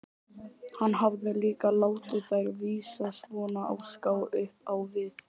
Hann hafði líka látið þær vísa svona á ská upp á við.